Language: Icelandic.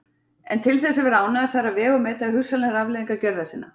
En til þess að vera ánægður þarf að vega og meta hugsanlegar afleiðingar gjörða sinna.